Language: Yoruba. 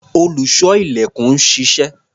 Olùṣọ́-ilẹ̀kùn ń ṣiṣẹ́.